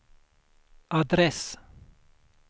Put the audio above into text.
adress